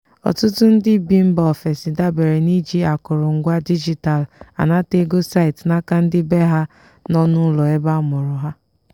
ọtụtụ ndị bi mba ofesi dabere n'iji akụrụ ngwa digital anata ego site n'aka ndị bee ha nọ n'ụlọ ebe amụrụ ha.